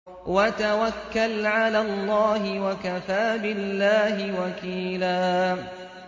وَتَوَكَّلْ عَلَى اللَّهِ ۚ وَكَفَىٰ بِاللَّهِ وَكِيلًا